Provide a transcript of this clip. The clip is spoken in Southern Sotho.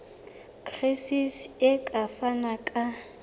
gcis e ka fana ka